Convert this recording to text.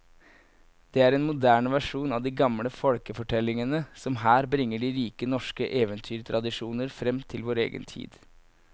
Det er en moderne versjon av de gamle folkefortellingene som her bringer de rike norske eventyrtradisjoner fram til vår egen tid.